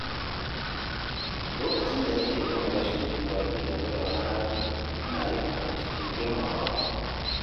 Lokacin da nake nuna rashin jin daɗi game da wani hali, ina yin haka cikin girmamawa.